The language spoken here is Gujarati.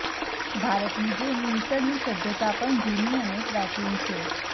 ભારતની જેમ મિસરની સભ્યતા પણ જૂની અને પ્રાચીન છે